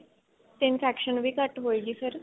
ਤੇ infection ਵੀ ਘੱਟ ਹੋਏਗੀ ਫੇਰ